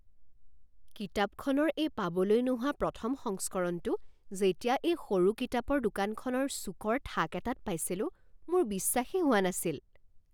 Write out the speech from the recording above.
কিতাপখনৰ এই পাবলৈ নোহোৱা প্ৰথম সংস্কৰণটো যেতিয়া এই সৰু কিতাপৰ দোকানখনৰ চুকৰ থাক এটাত পাইছিলোঁ, মোৰ বিশ্বাসেই হোৱা নাছিল।